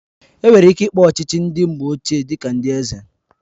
Enwere ike ịkpọ ndị ọchịchị mgbe ochie dị ka ndị eze